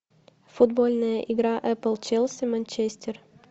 футбольная игра апл челси манчестер